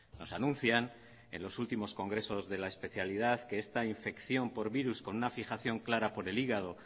nos anuncian en los últimos congresos de la especialidad que esta infección por virus con una fijación clara por el hígado